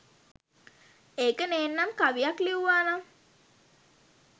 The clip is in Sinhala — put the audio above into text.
ඒක නේන්නම් කවියක් ලිව්වා නම්